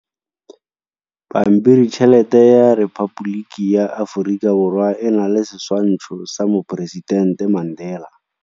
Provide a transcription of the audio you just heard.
Pampiritšhelete ya Repaboliki ya Aforika Borwa e na le setshwantsho sa poresitente Mandela.